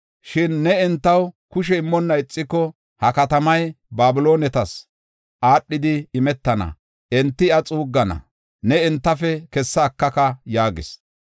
Shin ne entaw kushe immonna ixiko, ha katamay Babiloonetas aadhidi imetana; enti iya xuuggana; ne entafe kessa ekaka’ ” yaagis.